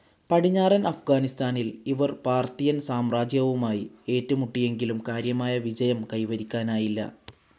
പടിഞ്ഞാറൻ അഫ്ഗാനിസ്താനിൽ ഇവർ പാർത്തിയൻ സാമ്രാജ്യവുമായി ഏറ്റുമുട്ടിയെങ്കിലും കാര്യമായ വിജയം കൈവരിക്കാനായില്ല.